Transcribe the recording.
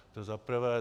To za prvé.